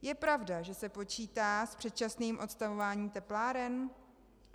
Je pravda, že se počítá s předčasným odstavováním tepláren?